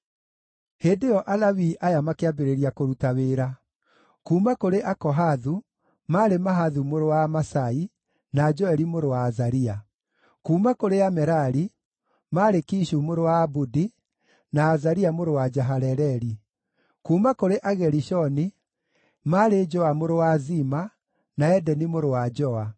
Hĩndĩ ĩyo Alawii aya makĩambĩrĩria kũruta wĩra: kuuma kũrĩ Akohathu, maarĩ Mahathu mũrũ wa Amasai, na Joeli mũrũ wa Azaria; kuuma kũrĩ Amerari, maarĩ Kishu mũrũ wa Abudi, na Azaria mũrũ wa Jehaleleli; kuuma kũrĩ Agerishoni, maarĩ Joa mũrũ wa Zima, na Edeni mũrũ wa Joa;